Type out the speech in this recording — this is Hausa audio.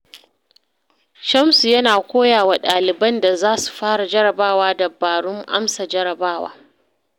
Shamsu yakan koya wa ɗaliban da za su fara jarrabawa dabarun amsa jarrabawa.